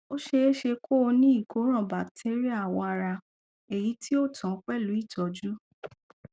ó ṣeéṣe kó o ní ìkóràn batéríà awọ ara èyí tí ò tán pẹlú ìtọjú